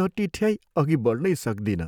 नटिठ्याइ अघि बढ्नै सक्दिनँ।